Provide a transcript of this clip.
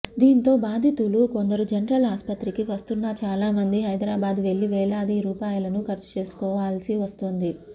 దీంతో బాధితులు కొందరు జనరల్ ఆస్పత్రికి వస్తున్నా చాలా మంది హైదరాబాద్ వెళ్లి వేలాది రూపాయలను ఖర్చు చేసుకోవాల్సి వస్తోంది